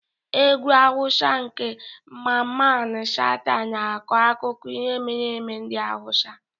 Egwu Hausa nke Mamman Shata na-akọ akụkọ ihe mere eme ndị Hausa.